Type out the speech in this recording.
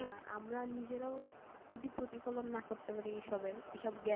না, আমরা নিজেরাও যদি প্রতিফলন না করতে পারি এইসবের এইসব জ্ঞানের,